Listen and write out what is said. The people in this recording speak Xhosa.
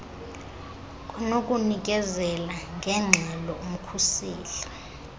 kwanokunikezela ngeengxelo umkhuseli